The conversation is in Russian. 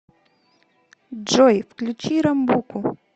джой включи рамбуку